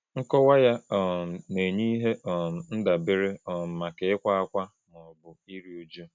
Nkọwa ya um na-enye ihe um ndabere um maka ịkwa ákwá ma ọ bụ iru uju.